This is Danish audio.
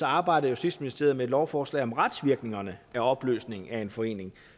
arbejder justitsministeriet med et lovforslag om retsvirkningerne af opløsningen af en forening